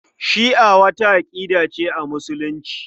Shi'a wata aƙida ce a Musulunci.